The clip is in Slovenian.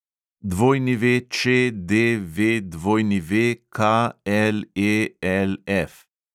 WČDVWKLELF